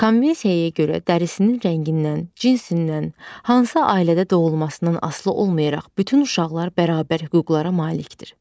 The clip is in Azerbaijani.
Konvensiyaya görə dərisinin rəngindən, cinsindən, hansı ailədə doğulmasından asılı olmayaraq bütün uşaqlar bərabər hüquqlara malikdir.